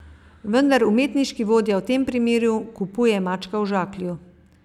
Vendar umetniški vodja v tem primeru kupuje mačka v žaklju.